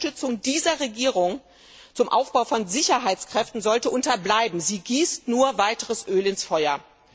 Eine Unterstützung dieser Regierung zum Aufbau von Sicherheitskräften sollte unterbleiben sie gießt nur weiteres Öl ins Feuer.